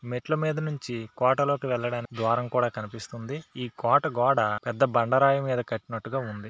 మెట్ల మీద నుంచి కోటలోకి వెళ్లడానికి ద్వారం కూడా కనిపిస్తుంది ఈ కోట గోడ పెద్ద బండరాయి మీద కట్టినట్టుగా ఉంది.